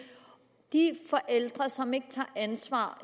de forældre som ikke tager ansvar